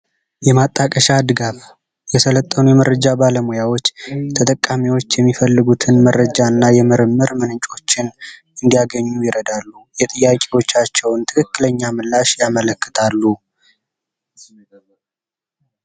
የማጣቀሻ ድጋፍ የሰለጠኑ የመረጃ ባለሙያዎች ተጠቃሚዎች የሚፈልጉትን መረጃ እና የምርምር ምንጮችን እንዲያገኙ ይረዳሉ የጥያቄዎቻቸውን ትክክለኛ ምላሽ ያመለክታሉ።